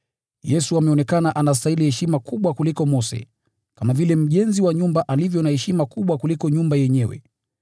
Yesu ameonekana anastahili heshima kubwa kuliko Mose, kama vile mjenzi wa nyumba alivyo wa heshima kubwa kuliko nyumba yenyewe.